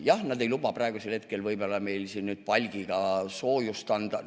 Jah, nad ei luba praegusel hetkel võib-olla meil palgiga soojust anda.